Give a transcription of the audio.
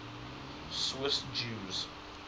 swiss jews